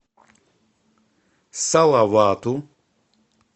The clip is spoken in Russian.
салавату